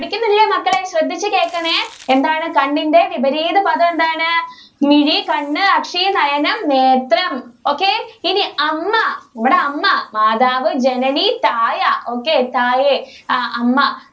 മക്കളേ ശ്രെദ്ധിച്ചു കേക്കണേ എന്താണ് കണ്ണിന്റെ വിപരീത പദം എന്താണ് മിഴി കണ്ണ് അസി നയനം നേത്രം okay ഇനി അമ്മ നമ്മുടെ അമ്മ മാതാവ് ജനനി തായ തായേ okay അമ്മ